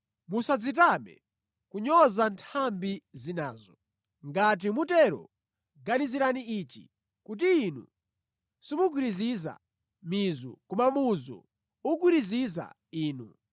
musadzitame kunyoza nthambi zinazo. Ngati mutero, ganizirani ichi kuti Inu simugwiriziza mizu, koma muzu ukugwiriziza inu.